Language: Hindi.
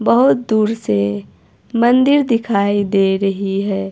बहोत दूर से मंदिर दिखाई दे रही है।